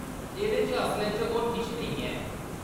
एह्‌‌‌दे च असलै च होर किश नेईं ऐ।